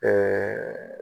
Ɛɛ